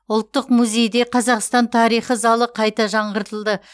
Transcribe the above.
ұлттық музейде қазақстан тарихы залы қайта жаңғыртылды